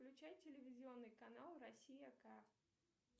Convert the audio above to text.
включай телевизионный канал россия ка